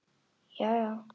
Já já.